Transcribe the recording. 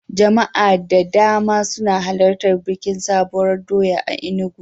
Jama'a da dama suna halartan bikin Sabuwar doya a Enugu.